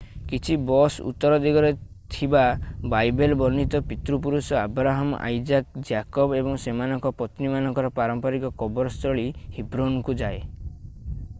କିଛି ବସ୍ ଉତ୍ତର ଦିଗରେ ଥିବା ବାଇବେଲ୍ ବର୍ଣ୍ଣିତ ପିତୃପୁରୁଷ ଆବ୍ରାହମ ଆଇଜାକ୍ ଜ୍ୟାକବ୍ ଏବଂ ସେମାନଙ୍କ ପତ୍ନୀମାନଙ୍କର ପାରମ୍ପରିକ କବର ସ୍ଥଳୀ ହିବ୍ରୋନକୁ ଯାଏ